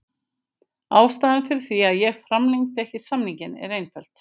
Ástæðan fyrir því að ég framlengdi ekki samninginn er einföld.